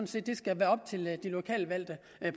set skal være op til de lokalt valgte